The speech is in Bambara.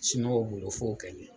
Siniwaw bolo fo kɛɲɛ